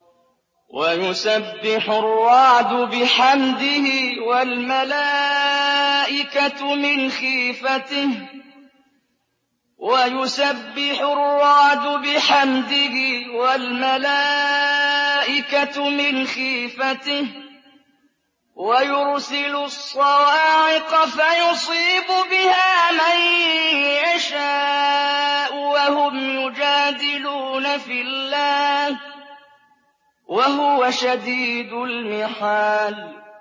وَيُسَبِّحُ الرَّعْدُ بِحَمْدِهِ وَالْمَلَائِكَةُ مِنْ خِيفَتِهِ وَيُرْسِلُ الصَّوَاعِقَ فَيُصِيبُ بِهَا مَن يَشَاءُ وَهُمْ يُجَادِلُونَ فِي اللَّهِ وَهُوَ شَدِيدُ الْمِحَالِ